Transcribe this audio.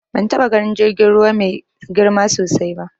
Ban taɓa ganin jirgin ruwa mai girma sosai ba.